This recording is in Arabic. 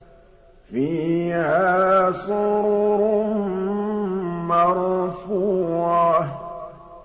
فِيهَا سُرُرٌ مَّرْفُوعَةٌ